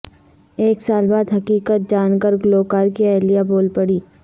ایک سال بعد حقیقت جان کر گلوکار کی اہلیہ بول پڑیں